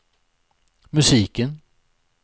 musiken